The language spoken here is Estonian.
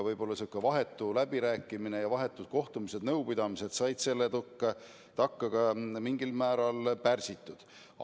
Võib-olla sihuke vahetu läbirääkimine ja vahetud kohtumised-nõupidamised olid selle tõttu mingil määral pärsitud.